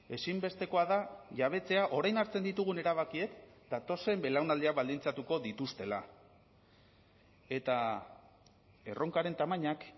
ezinbestekoa da jabetzea orain hartzen ditugun erabakiek datozen belaunaldiak baldintzatuko dituztela eta erronkaren tamainak